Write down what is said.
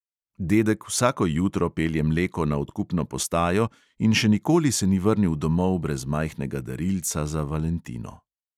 Dedek vsako jutro pelje mleko na odkupno postajo in še nikoli se ni vrnil domov brez majhnega darilca za valentino.